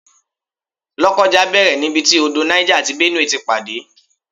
Lokoja bẹ̀rẹ̀ nibiti odò Niger àti Benue ti pàdé